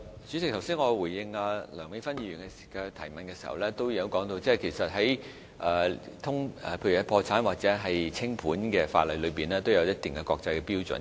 主席，我剛才回應梁美芬議員的補充質詢時，也提到在破產或清盤的法例中，存在一定的國際標準。